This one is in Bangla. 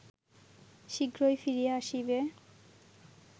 শীঘ্রই ফিরিয়া আসিবে